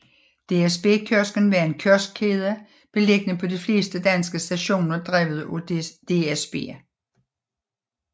DSB Kiosken var en kioskkæde beliggende på de fleste danske stationer drevet af DSB